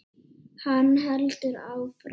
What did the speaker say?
Hann heldur áfram.